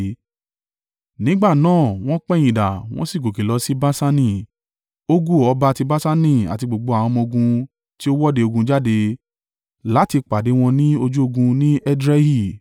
Nígbà náà wọ́n pẹ̀yìndà wọ́n sì gòkè lọ sí Baṣani, Ogu ọba ti Baṣani àti gbogbo àwọn ọmọ-ogun tí ó wọ́de ogun jáde láti pàdé wọn ní ojú ogun ní Edrei.